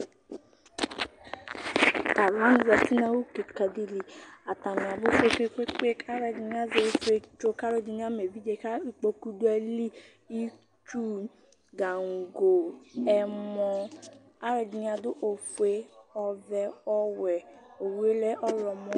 T'alʋwani zati nʋ awʋ kika di li Atani abʋ kpekpekpe, k'alʋ ɛdini azɛ ifietso, k'alʋ edini ama evidze kʋ ikpoku dʋ ayili Itsu, gango, ɛmɔ, alʋ ɛdini adʋ ofue, ɔvɛ, ɔwɛ Owu yɛ lɛ ɔɣlɔmɔ